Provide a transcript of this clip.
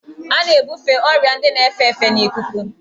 A na-ebufe ọrịa ndị na-efe efe n'ikuku.